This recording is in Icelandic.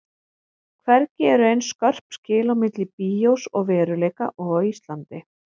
Hvergi eru eins skörp skil á milli bíós og veruleika og á Íslandi.